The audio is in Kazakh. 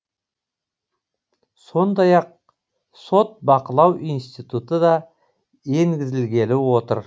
сондай ақ сот бақылау институты да енгізілгелі отыр